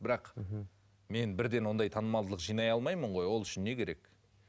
бірақ мхм мен бірден ондай танымалдылық жинай алмаймын ғой ол үшін не керек